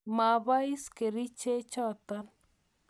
Ma pois kerichot notok.